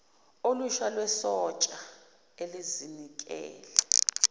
olusha lwesotsha elizinikele